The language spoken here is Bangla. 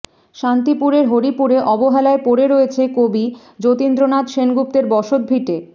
শান্তিপুরের হরিপুরে অবহেলায় পড়ে রয়েছে কবি যতীন্দ্রনাথ সেনগুপ্তের বসত ভিটে